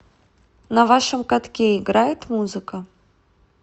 на вашем катке играет музыка